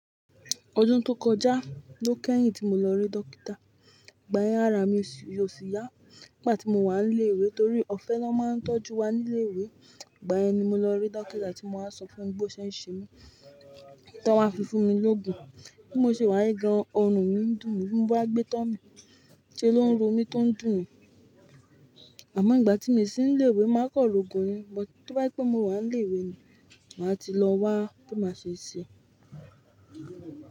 Ọdún tó kọjá ló kẹ́yìn tí mo lọ rí Dókítà. Gba yen, ara mi ò sì yá nígbà tí mo wà nílé ìwé torí ọ̀fẹ́ na máa ń tọ́jú wa nílé ìwé. Igba yen ni mo lọ rí Dókítà tí mo máa sọ fún un bó ṣe ń ṣe mí, tí ó máa fi fún mi lógun. Bí mo ṣe wá rí gan-an ọrùn mi ń dùn mí, bí mo bá gbé to mi, ṣe ló ń ro mí tó ń dùn ni? Àmọ́ ngbà tí mi sì nílé ìwé máa kan lógun ni, but tí o bá je pé mo wà nílé ìwé ni, màá ti lọ wá bí máa ṣe ṣe.